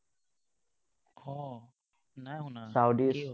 অ, নাই শুনা, কিয়?